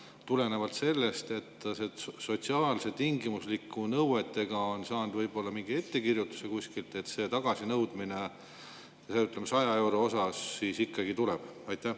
Kas tulenevalt sellest, et koos sotsiaalse tingimuslikkuse nõuetega on saadud kuskilt võib-olla mingi ettekirjutus, et see 100 euro tagasinõudmine ikkagi tuleb?